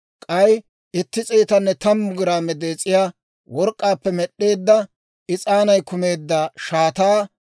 k'ay itti s'eetanne tammu giraame dees'iyaa work'k'aappe med'd'eedda, is'aanay kumeedda shaataa;